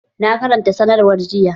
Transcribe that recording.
Na karanta sanarwar jiya